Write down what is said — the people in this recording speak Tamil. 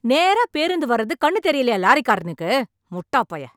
நேரா பேருந்து வர்றது, கண்ணு தெரியலயா லாரிக்காரனுக்கு... முட்டாப் பைய...